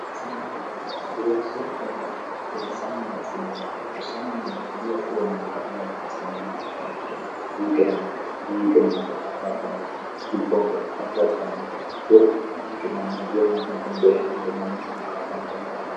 asineemmore gedensoo ikka irla'nummokkinni sammini asineemma ekkiro sammiine fuliwa fuloonenne qa'nente asineemmo ekki aekkiro ninkiranna mininke mannira qarrabbannota lubbonkira qarrabbannota woy ninke manna woy manna gombee'no moro mannu ana qarraabbannota afae